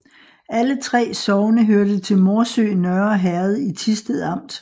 Alle 3 sogne hørte til Morsø Nørre Herred i Thisted Amt